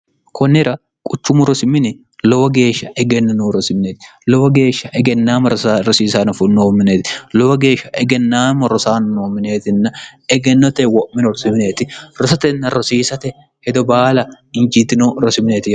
kunnira quchumu rosimini lowo geeshsha egenni nuu rosimineeti lowa geeshsha egennaama rosiisano funoomineeti lowa geeshsha egennaama rosaanno mineetinna egennote wo'mino rosmineeti rosatenna rosiisate hedo baala injiitino rosimineeti